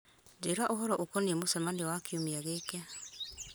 njĩra ũhoro ũkoniĩ mũcemanio wa kiumia gĩkĩ